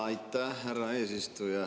Aitäh, härra eesistuja!